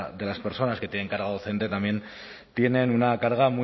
de las personas que tienen carga docente también tienen una carga